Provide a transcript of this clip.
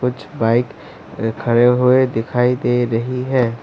कुछ बाइक अ खड़े हुए दिखाई दे रही है।